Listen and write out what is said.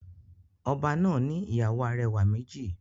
Oba náà ni ìyàwó arẹwà méjì.